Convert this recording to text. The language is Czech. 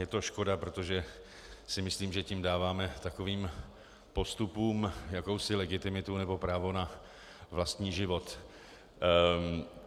Je to škoda, protože si myslím, že tím dáváme takovým postupům jakousi legitimitu nebo právo na vlastní život.